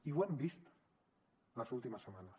i ho hem vist les últimes setmanes